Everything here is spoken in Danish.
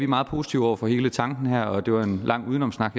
meget positive over for hele tanken her det var en lang udenomssnak